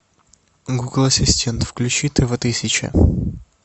гугл ассистент включи тв тысяча